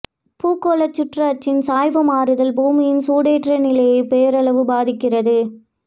பூகோளச் சுற்று அச்சின் சாய்வு மாறுதல் பூமியின் சூடேற்ற நிலையைப் பேரளவு பாதிக்கிறது